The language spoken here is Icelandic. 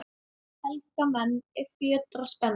Helga menn, er fjötrar spenna